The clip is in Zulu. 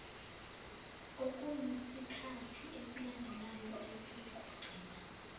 okuyisikhathi esilandela esokugcina